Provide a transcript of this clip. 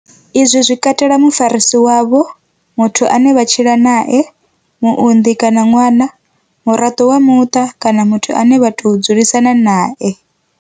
Izwi zwi katela mufarisi wavho, muthu ane vha tshila nae, muonḓi kana ṅwana, muraḓo wa muṱa kana muthu ane vha tou dzulisana nae.